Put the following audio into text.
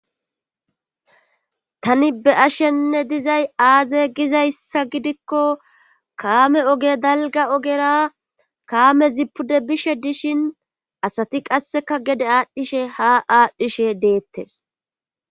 Tani be ashenne dizay aaze gizayssa gidikko kaame oge dalga ogera kaame zipude bishe dishin asati qasseka gede aadhdhishe ha aadhdhishe deettes.